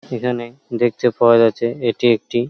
এখানে দেখতে পাওয়া যাচ্ছে এটি একটি--